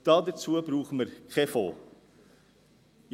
Dafür brauchen wir keinen Fonds.